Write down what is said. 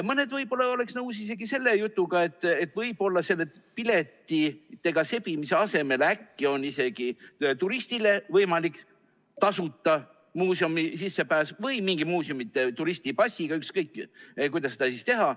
Mõni võib-olla oleks nõus isegi selle jutuga, et selle piletitega sebimise asemel on äkki isegi turistile võimalik tasuta muuseumi sissepääs või mingi muuseumide turistipass, ükskõik kuidas seda teha.